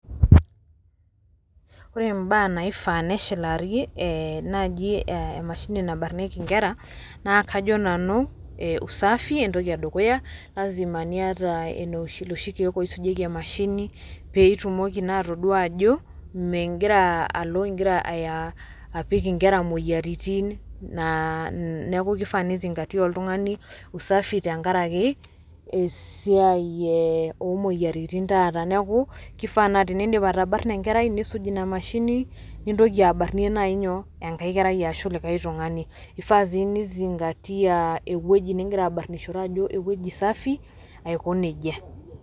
Ore mbaa naifaa neshilari naaji emashini nabarnieki nkera naa kajo nanu usafi entoki e dukuya, lasima niata loshi keek oisujieki emashini pee itumoki naa atodua ajo mingira alo naa ingira apik inkera moyiaritin neeku keifaa nizingatia oltungani usafi tenkaraki esia oo moyiaritin taata, neeku keifaa naa kenindip atabarna enkerai nisuj ina mashini nintokie barnie naaji nyoo? enkae kerai aashu likae tungani eifaa sii nizingatia ewueji ngira abarnishore ajo ewueji safi ,aiko nejia.